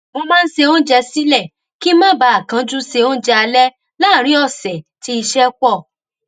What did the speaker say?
mo máa ń se oúnjẹ sílẹ kí n má bàa kánjú se oúnjẹ alẹ láàárín òsè tí iṣẹ pọ